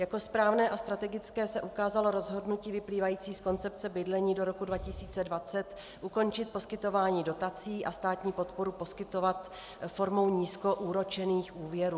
Jako správné a strategické se ukázalo rozhodnutí vyplývající z koncepce bydlení do roku 2020 ukončit poskytování dotací a státní podporu poskytovat formou nízkoúročených úvěrů.